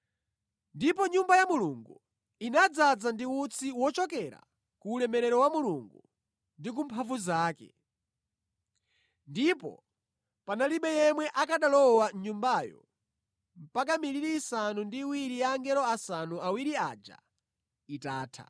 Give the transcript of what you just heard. Ndipo Nyumba ya Mulungu inadzaza ndi utsi wochokera ku ulemerero wa Mulungu ndi ku mphamvu zake, ndipo panalibe yemwe akanalowa mʼNyumbayo mpaka miliri isanu ndi iwiri ya angelo asanu ndi awiri aja itatha.